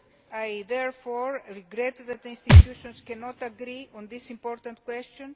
I therefore regret that the institutions cannot agree on this important question.